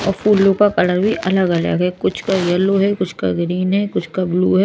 और फूलों का कलर भी अलग अलग है कुछ का येलो है कुछ का ग्रीन है कुछ का ब्ल्यू है।